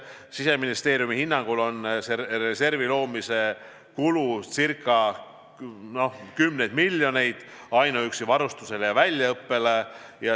Siseministeeriumi hinnangul on selle reservi loomise kulu kümneid miljoneid ainuüksi varustusele ja väljaõppele.